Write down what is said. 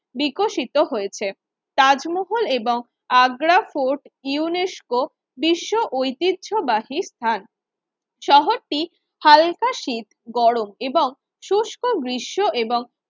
বিকশিত হয়েছে তাজমহল এবং আগ্রা ফোর্ট ইউনেস্কো বিশ্ব ঐতিহ্যবাহী স্থান শহরটি হালকা শীত, গরম এবং শুস্ক গ্রীষ্ম এবং